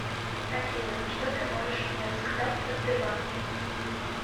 афина что ты можешь мне рассказать о сбербанке